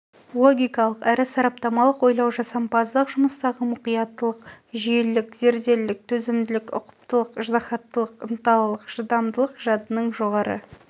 логикалық әрі сараптамалық ойлау жасампаздық жұмыстағы мұқияттылық жүйелілік зерделілік төзімділік ұқыптылық ыждахаттылық ынталылық шыдамдылық жадының жоғары